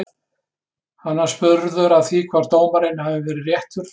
Hann var spurður að því hvort dómurinn hafi verið réttur?